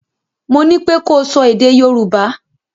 Mo ní pé ko sọ èdè Yorùbá!